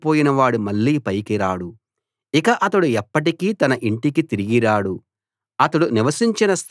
ఇక అతడు ఎప్పటికీ తన ఇంటికి తిరిగి రాడు అతడు నివసించిన స్థలం ఇక అతణ్ణి గుర్తించదు